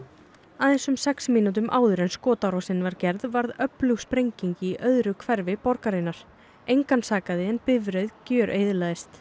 aðeins um sex mínútum áður en skotárásin var gerð varð öflug sprenging í öðru hverfi borgarinnar engan sakaði en bifreið gjöreyðilagðist